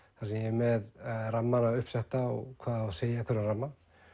með rammana uppsetta og hvað á að segja í hverjum ramma